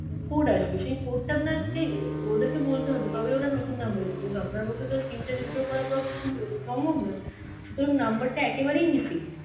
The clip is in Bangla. code আসবে, সেই code টা আপনাকে অ্যাঁ ওদেরকে বলতে হবে তবে ওরা নতুন number দেবে কিন্তু আপনার পক্ষে তো SIM টা restore করা সম্ভব নয় সুতরাং number টা একেবারেই missing.